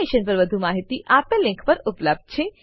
આ મિશન પર વધુ માહિતી આપેલ લીંક પર ઉપલબ્ધ છે